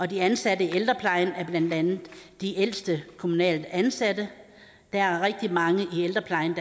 de ansatte i ældreplejen er blandt andet de ældste kommunalt ansatte der er rigtig mange i ældreplejen